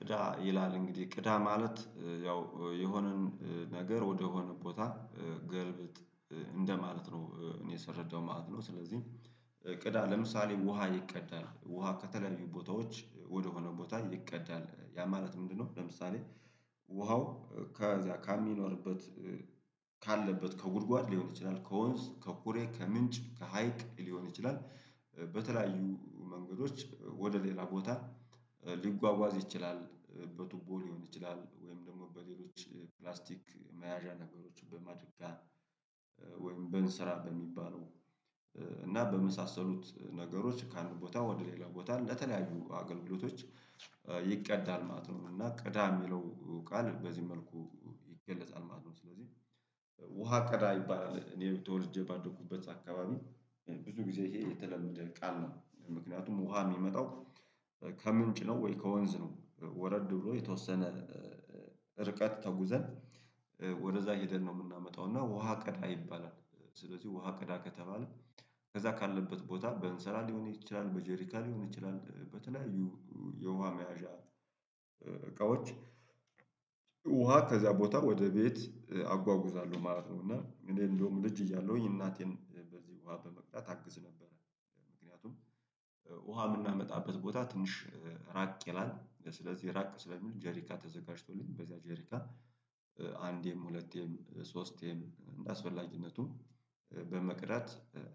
ቅዳ ይላል እንግዲህ ቅዳ ማለት ያው የሆነን ነገር ወደሆነ ቦታ ገልብጥ እንደማለት ነው እኔ ስረዳው ማለት ነው። ስለዚህ ቅዳ ለምሳሌ ውሃ ይቀዳል ውሃ ከተለያዩ ቦታዎች ወደሆነ ቦታ ይቀዳል ያ ማለት ምንድነው? ለምሳሌ ውሃው ከዛ ካሚኖርበት ካለበት ከጉድጓድ ሊሆን ይችላል ከወንዝ ከኩሬ ከምንጭ ከሀይቅ ሊሆን ይችላል። በተለያዩ መንገዶች ወደ ሌላ ቦታ ሊጓጓዝ ይችላል በቱቦ ሊሆን ይችላል ወይም ደግሞ በሌሎች ፕላስቲክ መያዣ ነገሮችን በማድረግ ወይም በእንስራ በሚባለው እና በመሳሰሉት ነገሮች ከአንድ ቦታ ወደ ሌላ ቦታ ለተለያዩ አገልግሎቶች ይቀዳል ማለት ነው። እና ቅዳ የሚለው ቃል በዚህ መልኩ ይገለጻል ማለት ነው። ስለዚህ ውሃ ቅዳ ይባላል እኔ ተወልጄ ባደኩበት አካባቢ ብዙ ጊዜ ይሄ የተለመደ ቃል ነው ምክንያቱም ውሃ የሚመጣው ከምንጭ ነው ወይ ከወንዝ ነው ወረድ ብሎ የተወሰነ ርቀት ተጉዘን ወደዛ ሄደን ነው የምናመጣው እና ውሃ ቀዳ ይባላል። ስለዚህ ውሃ ቀዳ ከተባለ ከዛ ካለበት ቦታ በእንስራ ሊሆን ይችላል በጄሪካ ሊሆን ይችላል በተለያዩ የውሃ መያዣ እቃዎች ውሃ ከዚያ ቦታ ወደ ቤት አጓጉዛለሁ ማለት ነው። እና እኔ እንደውም ልጅ እያለሁኝ እናቴን በዚህ ውሃ በመቅዳት አግዝ ነበረ ምክንያቱም ውሃ የምናመጣበት ቦታ ትንሽ ራቅ ይላል ስለዚህ ራቅ ስለሚል ጄሪካ ተዘጋጅቶልኝ በዛ ጄሪካ አንዴም ሁለቴም ሶስቴም እንደአስፈላጊነቱ በመቅዳት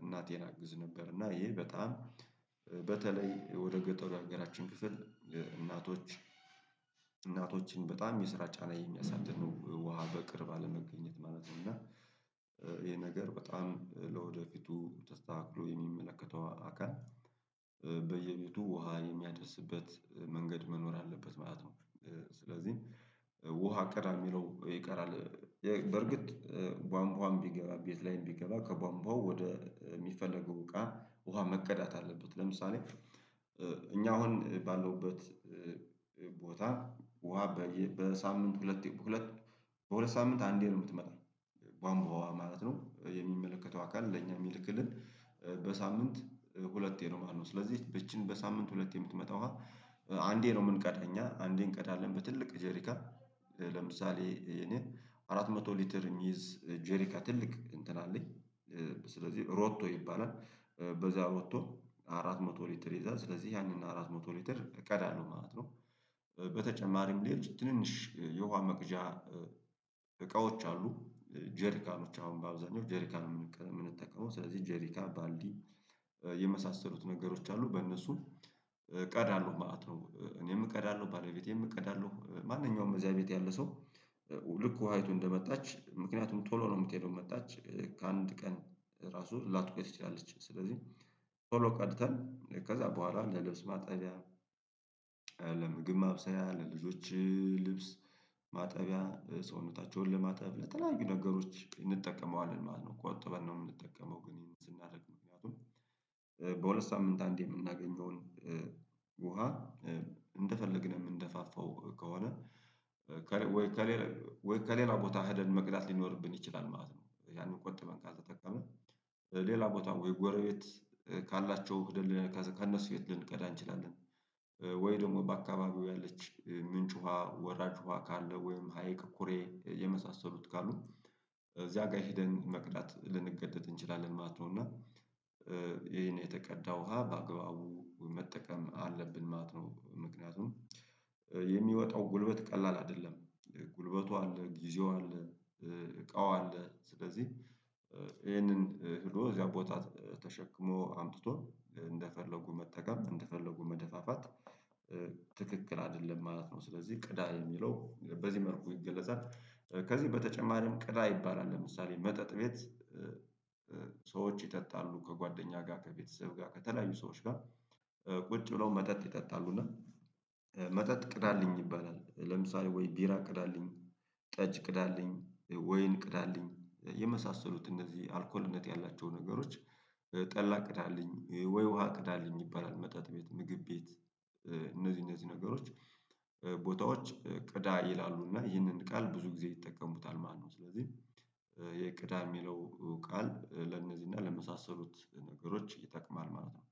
እናቴን አግዝ ነበር። እና ይሄ በጣም በተለይ ወደ ገጠሩ የሀገራችን ክፍል እናቶች እናቶችን በጣም የስራ ጫና የሚያሳድረ ነው ውሃ በቅርብ አለመገኘት ማለት ነው። እና ይሄ ነገር በጣም ለወደፊቱ ተስተካክሎ የሚመለከተው አካል በየቤቱ ውሃ የሚያደርስበት መንገድ መኖር አለበት ማለት ነው። ስለዚህ ውሃ ቅዳ የሚለው ይቀራል። በርግጥ ቧንቧሀም ቢገባ ቤት ላይም ቢገባ ከቧንቧው ወደ የሚፈለገው እቃ ውሃ መቀዳት አለበት ለምሳሌ እኛ አሁን ባለውበት ቦታ ውሃ በሳምንት ሁለት በሁለት በሁለት ሳምንት አንዴ ነው የምትመጣው ቧንቧዋ ማለት ነው። የሚመለከተው አካል ለኛ የሚልክልን በሳምንት ሁለቴ ነው ማለት ነው። ስለዚህ ይቺን በሳምንት ሁለቴ የምትመጣ ዉሃ አንዴ ነው የምንቀዳ እኛ አንዴ እንቀዳለን በትልቅ ጄሪካ ለምሳሌ አራት መቶ ሊትር እሚይዝ ጄሪካ ትልቅ እንትን አለኝ ስለዚህ ሮቶ ይባላል በዛ ሮቶ አራት መቶ ሊትር ይይዛል ስለዚህ ያንን አራት መቶ ሊትር እቀዳለሁ ማለት ነው። በተጨማሪም ሌሎች ትንንሽ የውሃ መቅጃ እቃዎች አሉ ጄሪካኖዎች አሁን በአብዛኛው ጄሪካን ነው የምንጠቀመው ስለዚህ ጄሪካን ባልዲ የመሳሰሉት ነገሮች አሉ በእነሱም እቀዳለሁ ማለት ነው። እኔም እቀዳለሁ ባለቤቴም እቀዳለሁ ማንኛውም እዚያ ቤት ያለ ሰው ልክ ውሃ ይቱ እንደመጣች ምክንያቱም ቶሎ ነው የምትሄደው መጣች ከአንድ ቀን ራሱ ላትቆይ ትችላለች ስለዚህ ቶሎ ቀድተን ከዛ በኋላ ለልብስ ማጠቢያ ለምግብ ማብሰያ ለልጆች ልብስ ማጠቢያ ሰውነታቸውን ለማጠብ ለተለያዩ ነገሮች እንጠቀመዋለን ማለት ነው። ቆጥበን ነው የምንጠቀመው ግን ይህን ስናደርግ ምክንያቱም በሁለት ሳምንት አንዴ የምናገኘውን ውሃ እንደፈለግን የምንደፋፋው ከሆነ ወይ ከሌላ ወይ ከሌላ ቦታ ሄደን መቅዳት ሊኖርብን ይችላል ማለት ነው። ያንን ቆጥበን ካልተጠቀምን ሌላ ቦታ ወይ ጎረቤት ካላቸው ሄደን ከእነሱ ቤት ልንቀዳ እንችላለን ወይ ደግሞ በአካባቢው ያለች ምንጭ ውሃ ወራጅ ውሃ ካለ ወይም ሀይቅ ኩሬ የመሳሰሉት ካሉ እዚያ ጋ ሄደን መቅዳት ልንገደድ እንችላለን ማለት ነው። እና ይሄን የተቀዳ ውሃ በአግባቡ መጠቀም አለብን ማለት ነው ምክንያቱም የሚወጣው ጉልበት ቀላል አይደለም ጉልበቱ አለ ጊዜው አለ እቃው አለ ስለዚህ ይሄንን ሄዶ እዚያ ቦታ ተሸክሞ አምጥቶ እንደፈለጉ መጠቀም እንደፈለጉ መደፋፋት ትክክል አይደለም ማለት ነው። ስለዚህ ቅዳ የሚለው በዚህ መልኩ ይገለጻል ከዚህ በተጨማሪም ቅዳ ይባላል። ለምሳሌ መጠጥ ቤት ሰዎች ይጠጣሉ ከጓደኛ ጋር ከቤተሰብ ጋር ከተለያዩ ሰዎች ጋር ቁጭ ብለው መጠጥ ይጠጣሉ እና መጠጥ ቅዳልኝ ይባላል ለምሳሌ ወይ ቢራ ቅዳልኝ ጠጅ ቅዳልኝ ወይን ቅዳልኝ የመሳሰሉት እነዚህ አልኮልነት ያላቸው ነገሮች ጠላ ቅዳለኝ ወይ ውሃ ቅዳለኝ ይባላል። መጠጥ ቤት ምግብ ቤት እነዚህ እነዚህ ነገሮች ቦታዎች ቅዳ ይላሉ እና ይህንን ቃል ብዙ ጊዜ ይጠቀሙታል ማለት ነው። ስለዚህ የቅዳ የሚለው ቃል ለነዚህ እና ለመሳሰሉት ነገሮች ይጠቅማል ማለት ነው